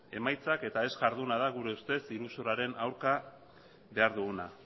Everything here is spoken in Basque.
emaitzak eta ez jarduna da gure ustez iruzurraren aurka behar duguna